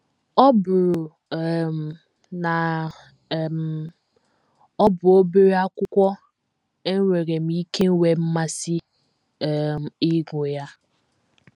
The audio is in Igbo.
“ Ọ bụrụ um na um ọ bụ obere akwụkwọ, enwere m ike nwee mmasị um ịgụ ya.